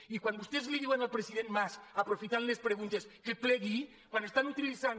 i quan vostès li diuen al president mas aprofitant les preguntes que plegui quan estan utilitzant